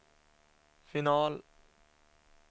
final